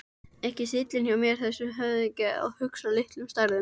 Ekki stíllinn hjá þessum höfðingja að hugsa í litlum stærðum.